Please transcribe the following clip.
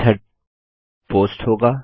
method post होगा